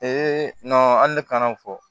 an ne kan ka o fɔ